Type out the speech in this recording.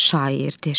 Şairdir.